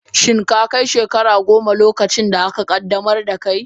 Shin ka kai shekara goma, lokacin da aka qaddamar da kai?